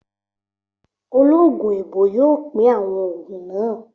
Ológun èèbó yóò pín àwọn ògùn náà